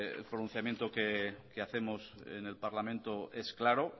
el pronunciamiento que hacemos en el parlamento es claro